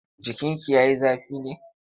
Jikinki ya yi zafi ne?